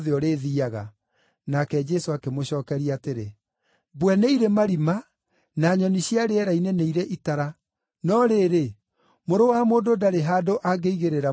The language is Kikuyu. Nake Jesũ akĩmũcookeria atĩrĩ, “Mbwe nĩ irĩ marima na nyoni cia rĩera-inĩ nĩ irĩ itara, no rĩrĩ, Mũrũ wa Mũndũ ndarĩ handũ angĩigĩrĩra mũtwe wake.”